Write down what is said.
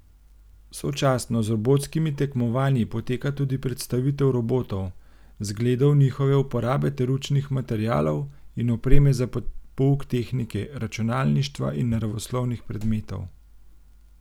Sočasno z robotskimi tekmovanji poteka tudi predstavitev robotov, zgledov njihove uporabe ter učnih materialov in opreme za pouk tehnike, računalništva in naravoslovnih predmetov.